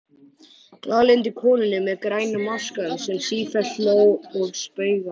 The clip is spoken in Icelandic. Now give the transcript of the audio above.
Glaðlyndu konunni með græna maskann sem sífellt hló og spaugaði.